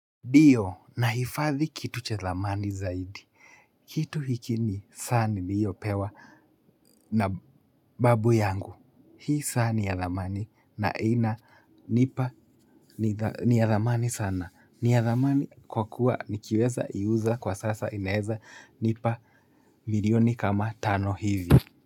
Ndiyo nahifadhi kitu cha thamani zaidi. Kitu hiki ni saa niliyopewa na babu yangu. Hii saa ni ya thamani na inanipa ni ya thamani sana. Ni ya thamani kwa kuwa nikiweza iuza kwa sasa inaweza nipa milioni kama tano hivi.